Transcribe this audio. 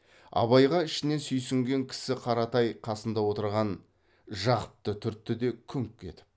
абайға ішінен сүйсінген кісі қаратай қасында отырған жақыпты түртті де күңк етіп